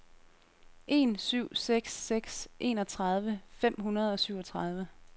en syv seks seks enogtredive fem hundrede og syvogtredive